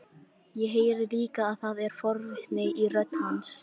Ég heyri líka að það er forvitni í rödd hans.